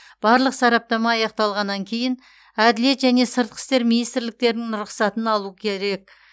барлық сараптама аяқталғаннан кейін әділет және сыртқы істер министрліктерінің рұқсатын алу керек